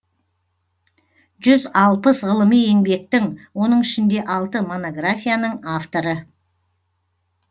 жүз алпыс ғылыми еңбектің оның ішінде алты монографияның авторы